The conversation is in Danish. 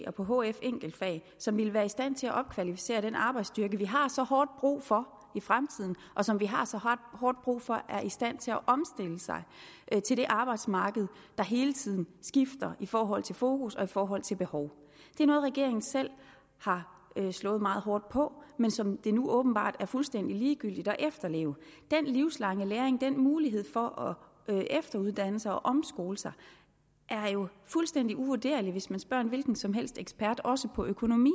og på hf enkeltfag som ville være i stand til at opkvalificere den arbejdsstyrke vi har så hårdt brug for i fremtiden og som vi har så hårdt brug for er i stand til at omstille sig til det arbejdsmarked der hele tiden skifter i forhold til fokus og i forhold til behov det er noget regeringen selv har slået meget hårdt på men som det nu åbenbart er fuldstændig ligegyldigt at efterleve den livslange læring den mulighed for at efteruddanne sig og omskole sig er jo fuldstændig uvurderlig hvis man spørger en hvilken som helst ekspert også på økonomi